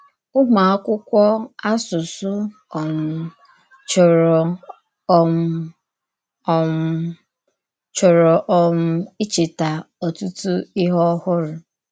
Ụ́mụ̀ àkwụ́kwọ̀ àsụsụ um chòrọ̀ um um chòrọ̀ um ìchèta ọ̀tùtụ̀ íhè ọ̀hụrụ.